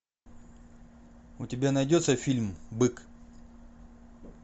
у тебя найдется фильм бык